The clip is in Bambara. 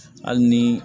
Hali ni